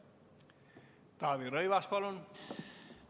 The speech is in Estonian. Taavi Rõivas, palun!